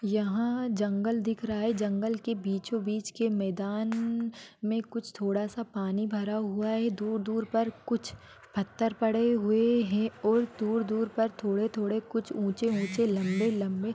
यहां जंगल दिख रहा है जंगल के बीचो बीच मेदन-न में कुछ थोड़ा सा पानी भरा हुआ है दर दूर पर कुछ पत्थर पड़े-ड़े हुए है और फिर दूर दूर पर कुछ थोड़े थोड़े कुछ ऊंचे ऊंचे लंबे लंबे--